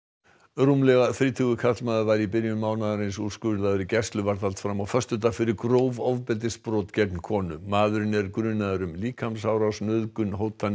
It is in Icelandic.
rúmlega þrítugur karlmaður var í byrjun mánaðarins úrskurðaður í gæsluvarðhald fram á föstudag fyrir gróf ofbeldisbrot gegn konu maðurinn er grunaður um líkamsárás nauðgun hótanir